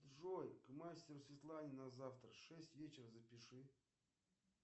джой к мастеру светлане на завтра в шесть вечера запиши